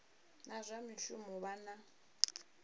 na zwa mishumo vha na